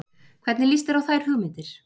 Hvernig líst þér á þær hugmyndir?